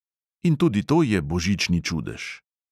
In tudi to je božični čudež.